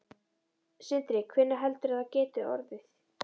Sindri: Hvenær heldurðu að það geti orðið?